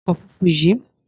Wọ ọkọ̀ funfun yìí!